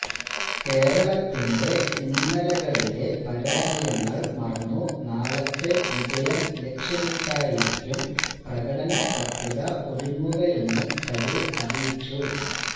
കേരളത്തിന്റെ ഇന്നലെകളിലെ പരാജയങ്ങൾ മറന്നു നാളത്തെ വിജയം ലക്ഷ്യമിട്ടായിരിക്കും പ്രകടനപത്രിക ഒരുങ്ങുകയെന്നും തരൂർ അറിയിച്ചു